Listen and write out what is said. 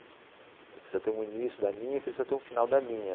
Você precisa ter um início da linha, precisa ter um final da linha.